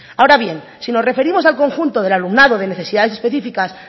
ahora bien si nos referimos al conjunto del alumnado de necesidades específicas